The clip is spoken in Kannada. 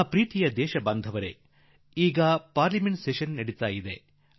ನನ್ನೊಲವಿನ ದೇಶವಾಸಿಗಳೇ ಈ ದಿನಗಳಲ್ಲಿ ಸಂಸತ್ ಅಧಿವೇಶನ ನಡೆದಿದೆ